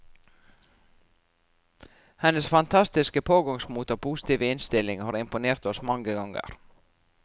Hennes fantastiske pågangsmot og positive innstilling har imponert oss mane ganger.